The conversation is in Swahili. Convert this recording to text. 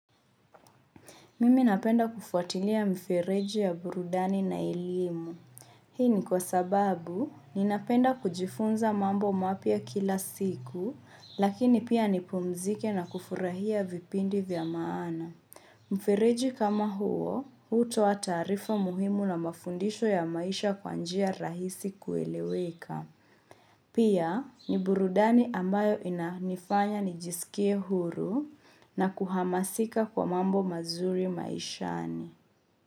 Mimi napenda kufuatilia mfereji ya burudani na elimu. Hii ni kwa sababu, ninapenda kujifunza mambo mapya kila siku, lakini pia nipumzike na kufurahia vipindi vya maana. Mfereji kama huo, hutoa taarifa muhimu na mafundisho ya maisha kwa njia rahisi kueleweka. Pia, ni burudani ambayo inanifanya nijisikie huru na kuhamasika kwa mambo mazuri maishani.